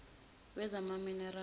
wezamaminerali